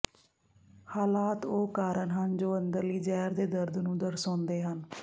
ਹਾਲਾਤ ਉਹ ਕਾਰਨ ਹਨ ਜੋ ਅੰਦਰਲੀ ਜ਼ਹਿਰ ਦੇ ਦਰਦ ਨੂੰ ਦਰਸਾਉਂਦੇ ਹਨ